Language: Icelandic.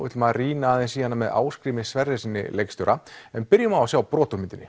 ætlum að rýna aðeins í hana með Ásgrími Sverrissyni leikstjóra en byrjum á að sjá brot úr myndinni